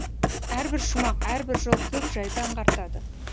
әрбір шумақ әрбір жол көп жайды аңғартады